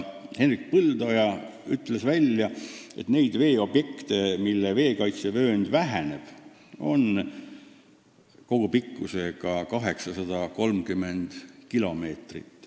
Hendrik Põldoja ütles, et neid veeobjekte, mille kaitsevöönd väheneb, on kogupikkusega 830 kilomeetrit.